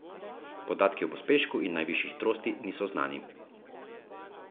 Podatki o pospešku in najvišji hitrosti niso znani.